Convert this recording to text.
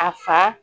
A fa